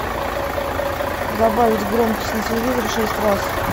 добавить громкость на телевизоре шесть раз